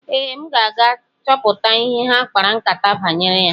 Ee, m ga-aga chọpụta ihe ha kpara nkátá banyere ya.